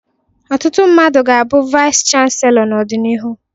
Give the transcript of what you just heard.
Ọtụtụ mmadụ ga-abụ Vice chansellor n'ọdịnihu.